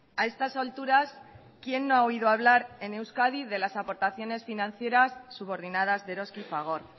a estas alturas quién no ha oído hablar en euskadi de las aportaciones financieras subordinadas de eroski y fagor